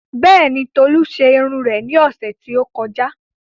Bẹ́ẹ̀ni, Tolu ṣe irun rẹ̀ ní ọ̀sẹ̀ tí ó kọjá